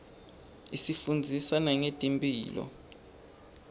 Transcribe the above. isifundzisa nangetemphilo